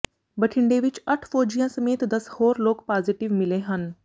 ਬਠਿੰਡੇ ਵਿਚ ਅੱਠ ਫ਼ੌਜੀਆਂ ਸਮੇਤ ਦਸ ਹੋਰ ਲੋਕ ਪਾਜ਼ੇਟਿਵ ਮਿਲੇ ਹਨ